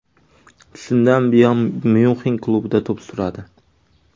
Shundan buyon Myunxen klubida to‘p suradi.